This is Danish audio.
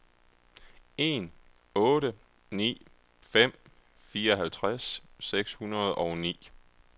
en otte ni fem fireoghalvtreds seks hundrede og ni